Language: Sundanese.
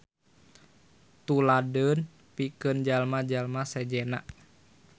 Tuladeun pikeun jalma-jalma sejenna.